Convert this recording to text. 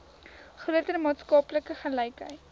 groter maatskaplike gelykheid